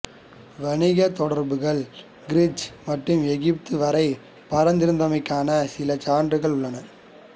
வணிகத் தொடர்புகள் கிரீட் மற்றும் எகிப்து வரை பரந்திருந்தமைக்கான சில சான்றுகளும் உள்ளன